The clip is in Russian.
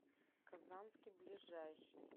казанский ближайший